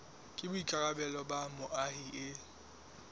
ke boikarabelo ba moahi e